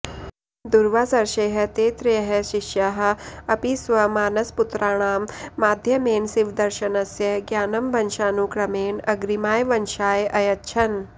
दुर्वासर्षेः ते त्रयः शिष्याः अपि स्वमानसपुत्राणां माध्यमेन शिवदर्शनस्य ज्ञानं वंशानुक्रमेण अग्रिमाय वंशाय अयच्छन्